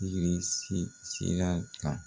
sira kan.